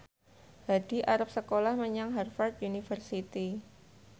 Hadi arep sekolah menyang Harvard university